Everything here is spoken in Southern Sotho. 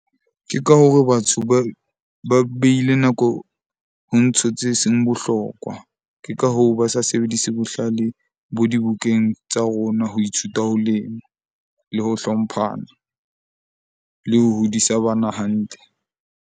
Ke ka hore batho ba beile nako ho ntho tse seng bohlokwa. Ke ka hoo, ba sa sebedise bohlale bo dibukeng tsa rona, ho ithuta, ho lema le ho hlomphana le ho hodisa bana hantle.